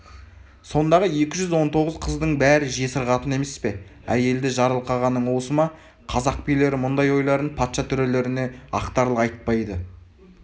сондағы екі жүз он тоғыз қыздың бәрі жесір қатын емес пе әйелді жарылқағаның осы ма қазақ билері мұндай ойларын патша төрелеріне ақтарыла айтпайды